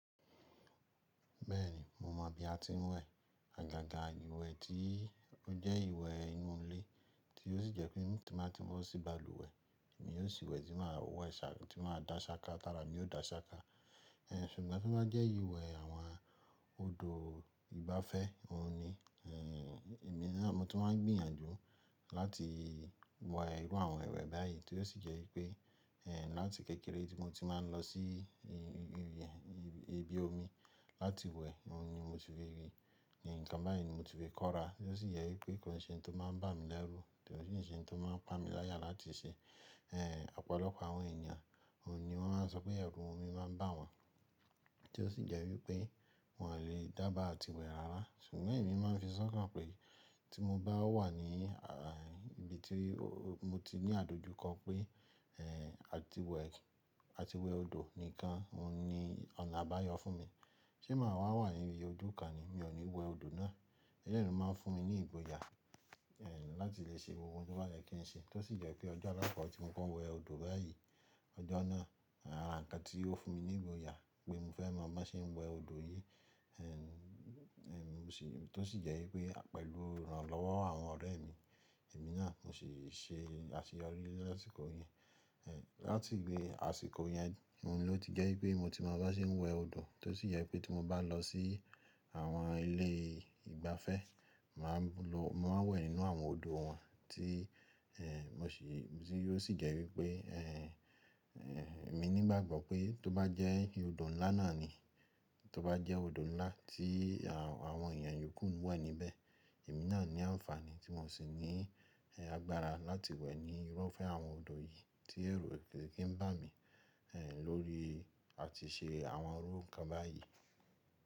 Bẹ́ẹ̀ni, mo mọ bí a ti ń wẹ̀. Àgàgà iwẹ̀ ti ó jẹ́ ìwẹ̀ inú ilé tí ó sì jẹ́ pé tí n bá ti bo sí balùwẹ̀, èmi yóò sì wẹ̀ tí màá wẹ̀ ṣá ti màá dá ṣáká tà'ra mi ò dá ṣáká. Ṣugbọn tí ó bá jẹ́ ìwẹ̀ àwọn odò ìgbafẹ́, òun ni èmi náà mo ti máa ń gbìyànjú láti wẹ̀ irú àwọn ìwẹ̀ báyìí tí ó sì jẹ́ wípé, láti kékeré tí mo ti máa ń lọ sí ibi omi láti wẹ̀, òhun ni mo si fi rí. Nkan báyìí ni mo ti fi kóra tí ó sì jẹ́ wípé kòí ṣẹ̀ ntó máa ń bà mí lẹ́rú, kòi sí ṣẹ̀ ntó máa ń pa mi láyà láti ṣẹ. Ẹ̀ ọ̀pọ̀lọpọ̀ àwọn ènìyàn, òhun ni wọ́n máa ń sọ pé ẹrù omi máa ń bà wọ́n tí ó sì jẹ́ wípé wọn le dába àti wẹ̀ rárá. Ṣùgbọ́n èmi máa ń fi sọ́kàn pé tí mo bá wà ní ibi tí mo ti ní àdojúkọ pé, ẹ̀ àti wẹ̀, àti wẹ̀ odò nìkan, òhun ni ọ̀nà àbáyọ fún mi. Ṣé màá wà wà ní ibi ojú kan ni, mi ò ní wẹ̀ odò náà. Ẹlẹ́yi lo máa ń fún mi ní ìgboyà, ẹ̀ láti lè ṣe gbogbo n to bá yẹ kí n ṣe tí ó sì jẹ́ pé ọjọ́ alákokọ̀ tí mo kọ wẹ̀ odò báyìí, ọjọ́ náà, àra nkan tí ó fún mi ní ìgboyà pé mo fẹ́ mọ̀ bi won se n wẹ̀ odò yìí. Ẹ̀ sì tí ó sì jẹ́ wípé pẹ̀lú irànlọ́wọ́ àwọn ọ̀rẹ́ mi, èmi náà mo sì ṣe àṣeyọrí lasìkò yii. Ẹ̀ láti ìgbẹ́ àsìkò yẹn, òhun ló ti jẹ́ wípé mo ti mọ bi won ṣe ń wẹ̀ odò tí ó sì jẹ́ wípé tí mo bá n lọ sí àwọn ilé ìgbafẹ́, màá lo mo màá n wẹ̀ nínú àwọn odò wọn tí, ẹ̀ mo sì ti yóò sì jẹ́ wípé, ẹ̀ èmi ní ìgbàgbọ́ pé tó bá jẹ́ odò ńlá náà ni, tó bá jẹ́ odò ńlá tí àwọn èèyàn yòókù ń wẹ̀ níbẹ̀, èmi náà ní àǹfààní tí mo sì ní agbára láti wẹ̀ ní irúfẹ́ àwọn odò yìí tí èru koi kin bá mi, ẹ̀ lórí àti ṣe àwọn irú ǹkan báyìí.